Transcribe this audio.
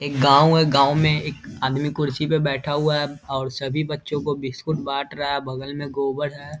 एक गाँव है गाँव में एक आदमी कुर्सी पे बैठा हुआ है और सभी बच्चो को बिस्कुट बांट रहा बगल में गोबर है।